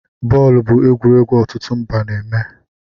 Bọọlụ bụ egwuregwu ọtụtụ mba na-eme